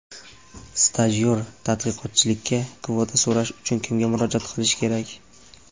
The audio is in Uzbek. Stajyor-tadqiqotchilikka kvota so‘rash uchun kimga murojaat qilish kerak?.